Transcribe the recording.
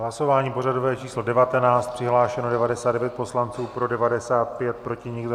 Hlasování pořadové číslo 19, přihlášeno 99 poslanců, pro 95, proti nikdo.